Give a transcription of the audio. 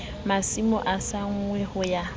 masimo a senngwa ho ya